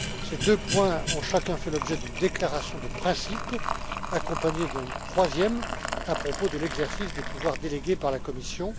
Ces deux points ont chacun fait l'objet d'une déclaration de principe, accompagnée d'une troisième à propos de l'exercice des pouvoirs délégués par la Commission.